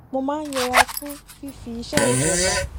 mo máa ń yẹra fún fífi iṣé ìjọba